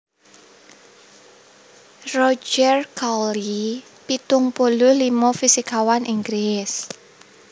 Roger Cowley pitung puluh limo fisikawan Inggris